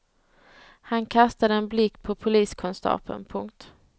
Han kastade en blick på poliskonstapeln. punkt